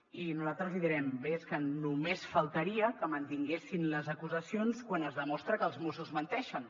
i nosaltres li direm bé és que només faltaria que mantinguessin les acusacions quan es demostra que els mossos menteixen